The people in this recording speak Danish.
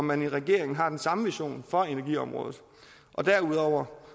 man i regeringen har den samme vision for energiområdet og derudover